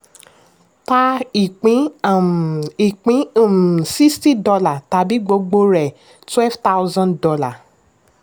ta ìpín um ìpín um sixty dollars tàbí gbogbo rẹ̀ twelve thousand dollars